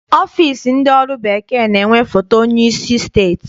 Ọfịịsi ndị ọrụ bekee na-enwe foto onyeisi steeti.